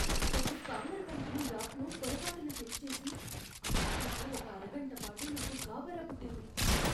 ఒక స్పామర్ పంపిన యాప్ను పొరపాటున క్లిక్ చేసి, ఆ తర్వాత ఒక అరగంట పాటు నాకు గాభరా పుట్టింది.